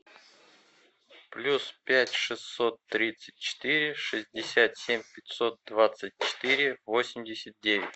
плюс пять шестьсот тридцать четыре шестьдесят семь пятьсот двадцать четыре восемьдесят девять